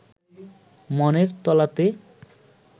মনের তলাতে